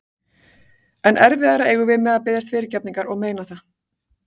Enn erfiðara eigum við með að biðjast fyrirgefningar og meina það.